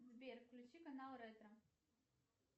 сбер включи канал ретро